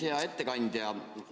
Hea ettekandja!